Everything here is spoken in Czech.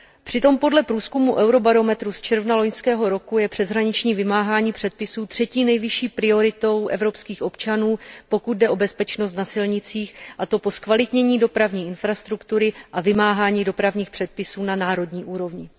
Přitom podle průzkumu Eurobarometru z června loňského roku je přeshraniční vymáhání předpisů třetí nejvyšší prioritou evropských občanů, pokud jde o bezpečnost na silnicích, a to po zkvalitnění dopravní infrastruktury a vymáhání dopravních předpisů na národní úrovni.